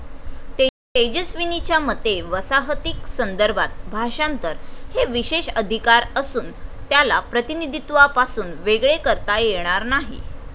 तेजस्विनीच्या मते वसाहतीक संदर्भात भाषांतर हे विशेषाधिकार असून त्याला प्रतीनिधीत्वापासून वेगळे करता येणार नाही.